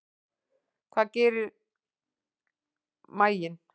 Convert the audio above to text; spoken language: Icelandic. Hvað gerir maginn?